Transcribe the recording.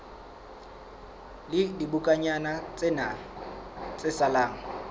la dibokonyana tsena tse salang